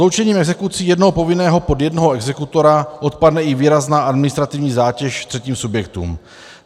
Sloučením exekucí jednoho povinného pod jednoho exekutora odpadne i výrazná administrativní zátěž třetím subjektům.